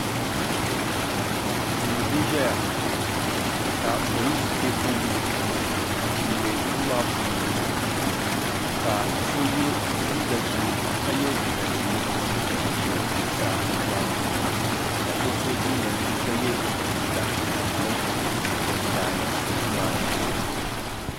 do n ʒɛya ka polisi pɛɛ ƒɔli n bɛ do maa puuni ka so yɛ liga ʒiɛ n ʒɛ zuɣ saa do maa puuni ka so so jinjam ʒiɛ ka yɛ liga tamipɛlim n kani do maa ni